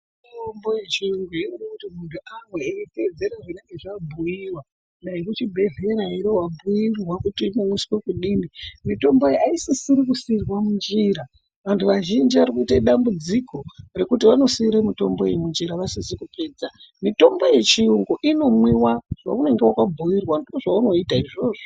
Mitombo yechiyungu inode kuti muntu amwe eiteedzera zvinenge zvabhuiwa. Dai kuchibhehlera ere, wabhuirwa kuti inonwiswa kudini. Mitombo iyi aisisiri kusiirwa munjira. Vantu vazhinji varikuite dambudziko rekuti vanosiira mitombo iyi munjira vasizi kupedza. Mitombo yechiyungu inomwiwa, zvaunenge wakabhuirwa ngezvaunoita izvozvo.